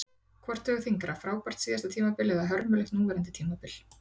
Hvort vegur þyngra, frábært síðasta tímabil eða hörmulegt núverandi tímabil?